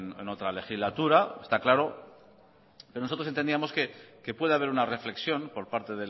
en otra legislatura está claro nosotros entendíamos que puede haber una reflexión por parte